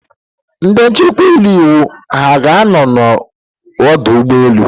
Ndị nchekwa iwu ha ga-anọ n'ọdụ ụgbọ elu?